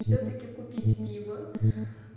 всё-таки купить пиво